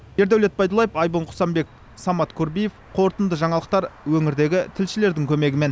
ердәулет байдуллаев айбын құсанбеков самат курбиев қорытынды жаңалықтар өңірдегі тілшілердің көмегімен